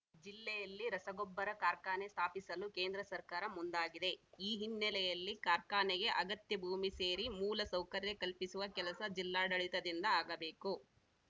ಜಿಲ್ಲೆಯಲ್ಲಿ ರಸಗೊಬ್ಬರ ಕಾರ್ಖಾನೆ ಸ್ಥಾಪಿಸಲು ಕೇಂದ್ರ ಸರ್ಕಾರ ಮುಂದಾಗಿದೆ ಈ ಹಿನ್ನೆಲೆಯಲ್ಲಿ ಕಾರ್ಖಾನೆಗೆ ಅಗತ್ಯ ಭೂಮಿ ಸೇರಿ ಮೂಲ ಸೌಕರ್ಯ ಕಲ್ಪಿಸುವ ಕೆಲಸ ಜಿಲ್ಲಾಡಳಿತದಿಂದ ಆಗಬೇಕು